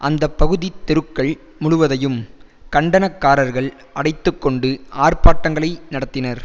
அந்தப்பகுதி தெருக்கள் முழுவதையும் கண்டனக்காரர்கள் அடைத்துக்கொண்டு ஆர்பாட்டங்களை நடத்தினர்